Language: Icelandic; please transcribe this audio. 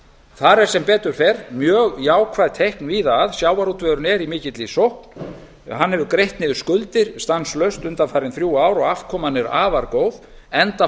þar eru sem betur fer mjög jákvæð teikn víða sjávarútvegurinn er í mikilli sókn hann hefur greitt niður skuldir stanslaust undanfarin þrjú ár og afkoman er afar góð enda